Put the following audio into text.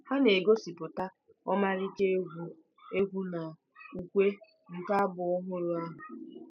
Ha na-egosipụta ọmarịcha egwu egwu na ukwe nke abụ ọhụrụ ahụ.